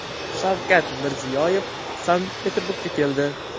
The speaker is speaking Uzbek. Shavkat Mirziyoyev Sankt-Peterburgga keldi.